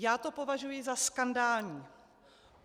Já to považuji za skandální.